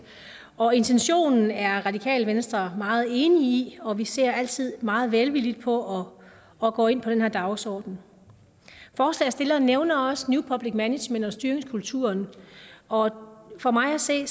og intentionen er radikale venstre meget enig i og vi ser altid meget velvilligt på at gå ind på den her dagsorden forslagsstillerne nævner også new public management og styringskulturen og for mig at se